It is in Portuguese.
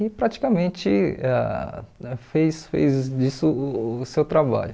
e praticamente ãh fez fez disso o o seu trabalho.